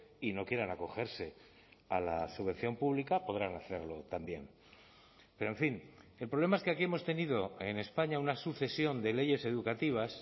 y no quieran acogerse a la subvención pública podrán hacerlo también pero en fin el problema es que aquí hemos tenido en españa una sucesión de leyes educativas